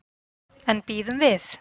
En bíðum við.